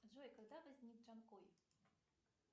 джой когда возник джанкой